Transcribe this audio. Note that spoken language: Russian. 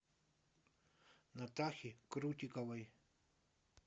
натахи крутиковой